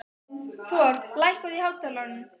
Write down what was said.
Thor, lækkaðu í hátalaranum.